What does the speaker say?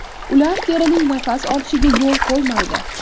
Ular terining nafas olishiga yo‘l qo‘ymaydi.